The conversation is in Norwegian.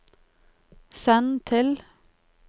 send til